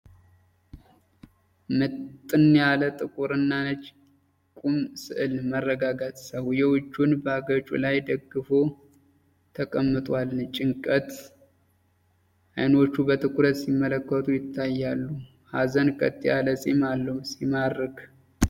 ምጥን ያለ ጥቁርና ነጭ የቁም ሥዕል። መረጋጋት። ሰውዬው እጁን በአገጩ ላይ ደግፎ ተቀምጧል። ጭንቀት። አይኖቹ በትኩረት ሲመለከቱ ይታያሉ። ሀዘን። ቀጥ ያለ ፂም አለው። ሲማርክ።